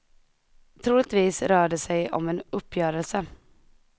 Troligtvis rör det sig om en uppgörelse.